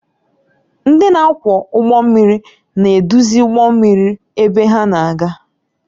Ndị na-akwọ ụgbọ mmiri na-eduzi ụgbọ mmiri ebe ha na-aga.